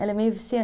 Ela é meio vician